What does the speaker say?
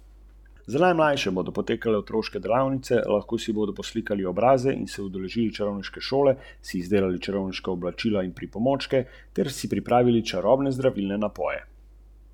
V večini primerov gre za matere z otroki iz Severnega trikotnika, kot imenujejo Gvatemalo, Honduras in Salvador.